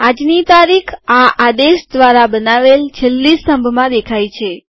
આજની તારીખ આ આદેશ ધ્વારા બનાવેલ છેલ્લી સ્તંભમાં દેખાય છે